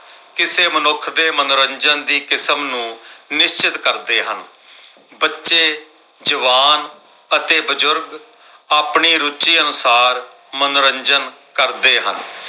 ਕਿਸੇ ਮਨੁੱਖ ਦੇ ਮਨੋਰੰਜਨ ਦੀ ਕਿਸਮ ਨੂੰ ਨਿਸ਼ਚਤ ਕਰ ਦੇ ਹਾਂ । ਬੱਚੇ, ਜਵਾਨ ਅਤੇ ਬਜ਼ੁਰਗ ਆਪਣੀ ਰੁਚੀ ਅਨੁਸਾਰ ਮਨੋਰੰਜਨ ਕਰਦੇ ਹਨ।